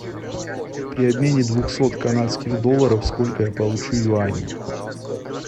при обмене двухсот канадских долларов сколько я получу юаней